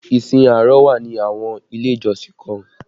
Ìsìn àárọ̀ wà ni àwọn ilé ìjọsìn kan